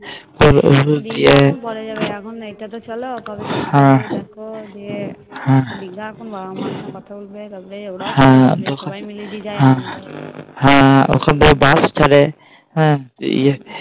দিয়ে ওটা তো পরে যাবে এখন এটা তো চলো হ্যাঁ দিঘার টা তো এখন মা বাবার সাথে কথা বলবে ওখান থেকে Bus ছাড়ে